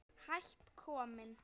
Hætt kominn